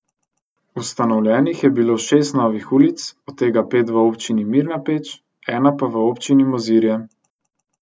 Ustanovljenih je bilo šest novih ulic, od tega pet v občini Mirna Peč, ena pa v občini Mozirje.